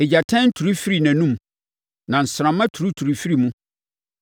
Egyatɛn turi firi nʼanom na nsramma turituri firi mu.